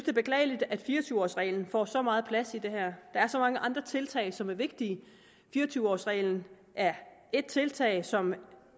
er beklageligt at fire og tyve års reglen får så meget plads i det her der er så mange andre tiltag som er vigtige fire og tyve års reglen er et tiltag som